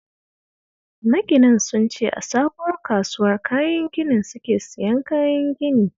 Maginan sun ce a sabuwar kasuwar kayan ginin suke siyan kayan gini